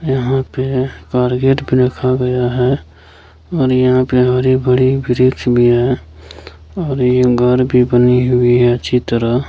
यहाँ पे कारपेट भी रखा गया है और यहाँ पे हरी-भरी वृक्ष भी है और ये घर भी बनी हुई है अच्छी तरह --